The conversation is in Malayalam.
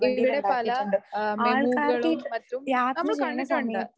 ഇവിടെ പല ആഹ് മെമൂകളും മറ്റും നമ്മൾ കണ്ടിട്ടുണ്ട്.